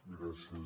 gràcies